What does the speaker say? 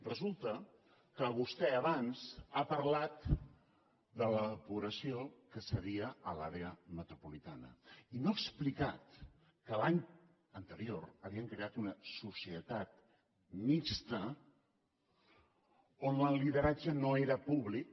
resulta que vostè abans ha parlat de la depuració que se cedia a l’àrea metropolitana i no ha explicat que l’any anterior havien creat una societat mixta on el lideratge no era públic